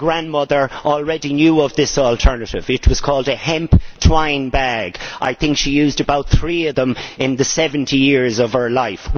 My grandmother already knew of this alternative, it was called a hemp twine bag. I think she used about three of them in the 70 years of her life.